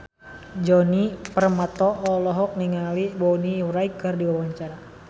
Djoni Permato olohok ningali Bonnie Wright keur diwawancara